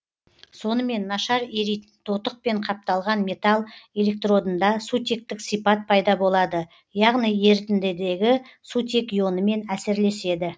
сонымен нашар еритін тотықпен қапталған металл электродында сутектік сипат пайда болады яғни ерітіндідегі сутек ионымен әсерлеседі